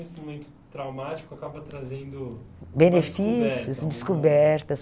esse momento traumático acaba trazendo... uma descoberta. Benefícios, descobertas.